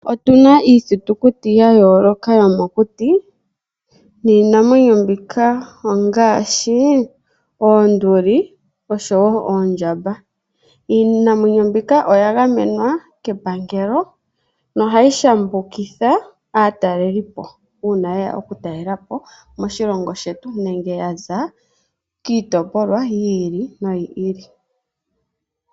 Otuna iithitukuti ya yooloka yomokuti niinamwenyo mbika ongaashi oonduli oshowo oondjamba. Iinamwenyo mbika oya gamenwa kepangelo nohayi shambukitha aatalelipo uuna yeya moshilongo shetu nenge yaza kiitopolwa yimwe.